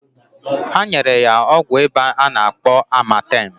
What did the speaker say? Ha nyekwara ya ọgwụ ịba a na-akpọ amatem.